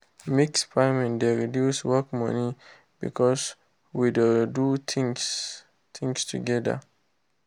mix farming dey reduce work money because we dey do things together. things together.